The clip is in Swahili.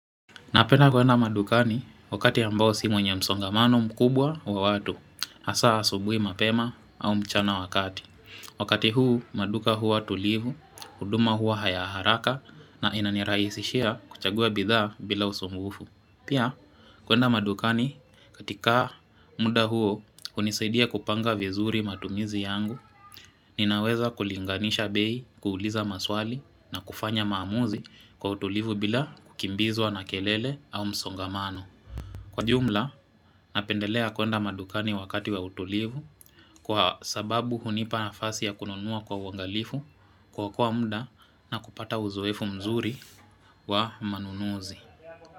Napenda kwenda madukani wakati ambao sio mwenye msongamano mkubwa wa watu, hasa asubuhi mapema au mchana wa kati. Wakati huu maduka huatulivu, huduma hua ya haraka na inanirahisishia kuchagua bidhaa bila usumbufu. Pia, kwenda madukani katika muda huo hunisaidia kupanga vizuri matumizi yangu, ninaweza kulinganisha bei, kuuliza maswali na kufanya maamuzi kwa utulivu bila kukimbizwa na kelele au msongamano. Kwa jumla, napendelea kwenda madukani wakati wa utulivu kwa sababu hunipa nafasi ya kununua kwa uangalifu kuokoa muda na kupata uzoefu mzuri wa manunuzi.